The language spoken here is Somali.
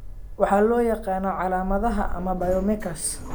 Waxa loo yaqaan calamadaha ama biomarkers.